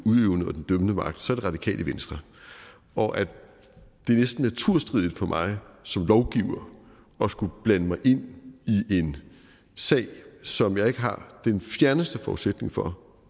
dømmende magt så er det radikale venstre og at det næsten er naturstridigt for mig som lovgiver at skulle blande mig i en sag som jeg ikke har den fjerneste forudsætning for